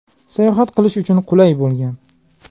Sayohat qilish uchun qulay bo‘lgan.